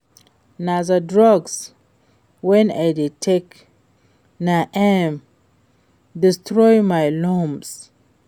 Na the drugs wey I dey take na im destroy my lungs